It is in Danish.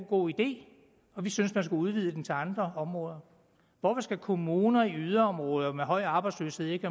god idé og vi synes man skulle udvide den til andre områder hvorfor skal kommuner i yderområder med høj arbejdsløshed ikke